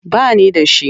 Ba ni da shi.